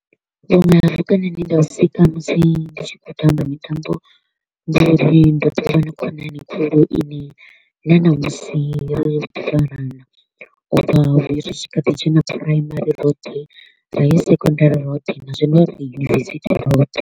Vhuṅwe ha vhukonani he nda u sika musi ndi tshi kho u tamba mitambo, ndi uri ndo ḓo vha na khonani khulu i ne na ṋamusi farana u bva ri tshi kha ḓi dzhena primary roṱhe ra ya secondary roṱhe na zwino ri University roṱhe.